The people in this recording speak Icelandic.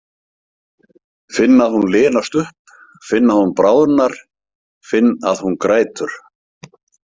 Finn að hún linast upp, finn að hún bráðnar, finn að hún grætur.